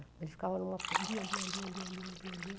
Ele ficava em uma... lia, lia, lia, lia, lia, lia, lia.